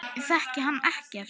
Ég þekki hann ekkert.